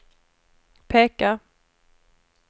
peka